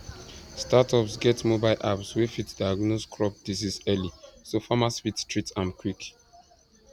startups get mobile apps wey fit diagnose crop disease early so farmers fit treat am quick